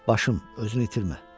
Başım, özünü itirmə.